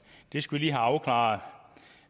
det skal vi afklaret